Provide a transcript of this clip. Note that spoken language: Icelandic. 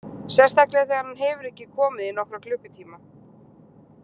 Sérstaklega þegar hann hefur ekki komið í nokkra klukkutíma.